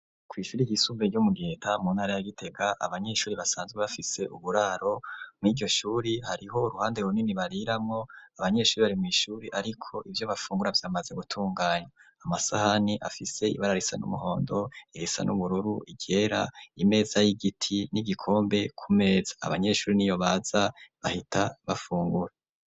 Kw'ishuri ry'isumbuye ryo mu ntara ya Gitega. Abanyeshuri basanzwe bafise uburaro mw'iryoshure Hariho ruhande runini bariramo .Abanyeshuri bari mu ishuri ariko ivyo bafungura vyamaze gutunganya .Amasahani afise ibararisa n'umuhondo irisa n'ubururu iryera imeza y'igiti n'igikombe ku meza abanyeshuri niyo baza bahita bafungura.